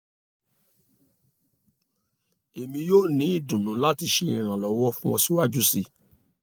emi yoo ni idunnu lati ṣe iranlọwọ fun ọ siwaju sii